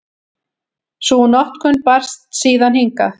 Sú notkun barst síðan hingað.